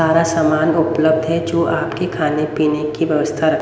सारा सामान उपलब्ध है जो आपके खाने पीने की व्यवस्था र--